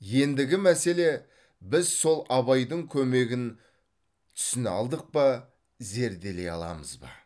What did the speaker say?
ендігі мәселе біз сол абайдың көмегін түсіне алдық па зерделей аламыз ба